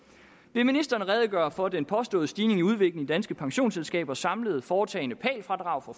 vil ministeren redegøre for den påståede stigende udvikling i danske pensionsselskabers samlede foretagne pal fradrag for